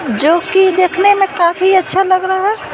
जो कि देखने में काफी अच्छा लगता है।